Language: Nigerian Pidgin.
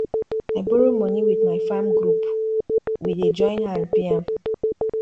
i borrow money with my farm group we dey join hand pay am